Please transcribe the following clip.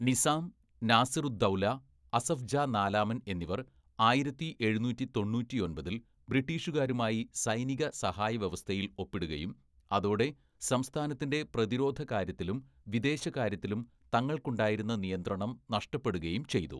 നിസാം, നാസിറുദ്ദൗല, അസഫ് ജാ നാലാമൻ എന്നിവർ ആയിരത്തി എഴുന്നൂറ്റി തൊണ്ണൂറ്റിയൊമ്പതില്‍ ബ്രിട്ടീഷുകാരുമായി സൈനികസഹായവ്യവസ്ഥയിൽ ഒപ്പിടുകയും അതോടെ സംസ്ഥാനത്തിൻ്റെ പ്രതിരോധകാര്യത്തിലും വിദേശകാര്യത്തിലും തങ്ങൾക്കുണ്ടായിരുന്ന നിയന്ത്രണം നഷ്ടപ്പെടുകയും ചെയ്തു.